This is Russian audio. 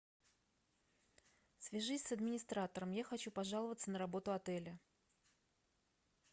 свяжись с администратором я хочу пожаловаться на работу отеля